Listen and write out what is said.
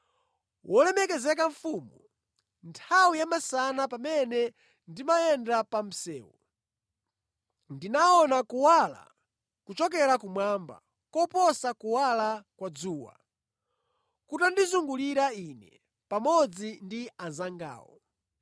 Wolemekezeka Mfumu, nthawi ya masana pamene ndimayenda pa msewu, ndinaona kuwala kuchokera kumwamba koposa kuwala kwa dzuwa kutandizungulira ine pamodzi ndi anzangawo.